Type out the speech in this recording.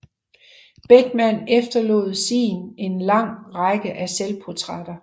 Beckmann efterlod sin en lang række af selvportrætter